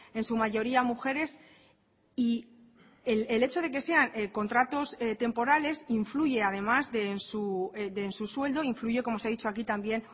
en su mayoría mujeres y el hecho de que sean contratos temporales influye además de en su sueldo influye como se ha dicho aquí también